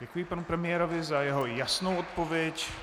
Děkuji panu premiérovi za jeho jasnou odpověď.